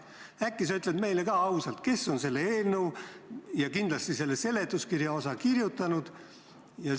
Äkki sa ütled meile ka ausalt, kes on selle eelnõu ja seletuskirja kirjutanud?